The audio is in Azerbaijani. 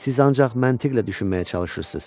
Siz ancaq məntiqlə düşünməyə çalışırsınız.